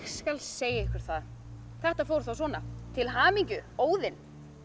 skal segja ykkur það þetta fór þá svona til hamingju Óðinn